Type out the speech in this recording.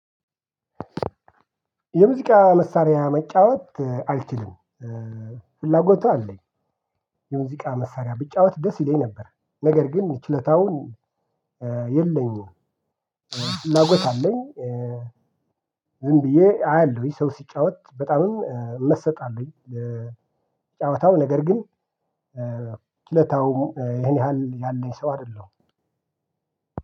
የሙዚቃ መሳሪያ መጫወት አልችልም። ፍላጎቱ አለኝ። የሙዚቃ መሳሪያ ብጫወት ደስ ይለኝ ነበር። ነገር ግን ችለታውን- የለኝም። ፍላጎት አለኝ። ዝም ብዬ አያለሁኝ ሰው ሲጫወት። በጣምም እመሰጣለሁኝ ለጫዋታው ነገር ግን ችሎታው ይሄን ያህል ያለኝ ሰው አይደለም።